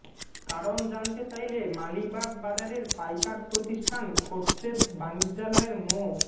কারণ জানতে চাইলে মালিবাগ বাজারের পাইকার প্রতিষ্ঠান খোরশেদ বাণিজ্যালয়ের মো